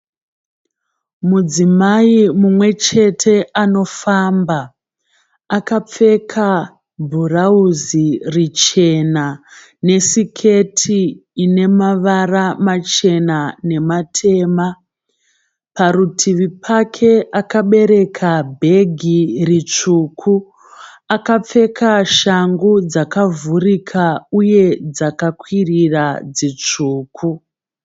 Mudzimai mumwe chete ano kufamba. Akapfeka bhurauzi richena nesiketi ine mavara machena nematema. Parutivi pake akabereka bhegi ritsvuku. Akapfeka shangu dzakavhurika uye dzakakwirira dzitsvuku.